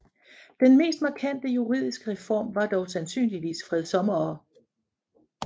Den mest markante juridiske reform var dog sandsynligvis fredsommere